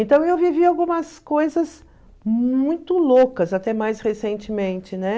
Então eu vivi algumas coisas muito loucas, até mais recentemente, né?